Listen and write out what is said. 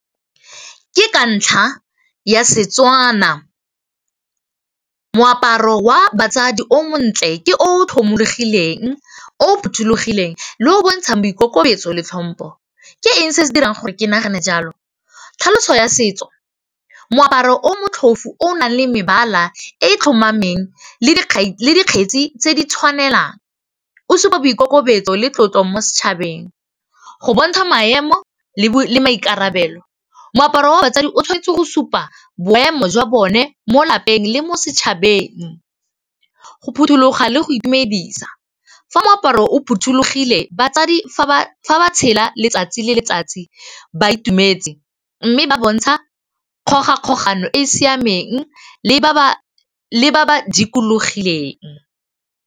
Ke ka ntlha ya Setswana moaparo wa batsadi o montle ke o tlhomologileng o phothulogileng le o o bontshang boikokobetso le tlhompho, ke eng se se dirang gore ke nagane jalo, tlhaloso ya setso moaparo o motlhofu o nang le mebala e tlhomameng le dikgetsi tse di tshwanelang o supa boikokobetso le tlotlo mo setšhabeng, go bontsha maemo le maikarabelo, moaparo wa batsadi o tshwanetse go supa boemo jwa bone mo lapeng le mo setshabeng, go phuthuloga le go itumedisa, fa moaparo o phothulogile batsadi fa ba tshela letsatsi le letsatsi ba itumetse mme ba bontsha dikgoga kgogano e e siameng le ba ba dikologileng.